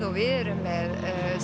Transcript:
og við erum með